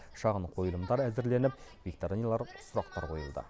шағын қойылымдар әзірленіп викториналар сұрақтар қойылды